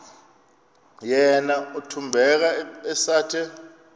yena uthembeka esathe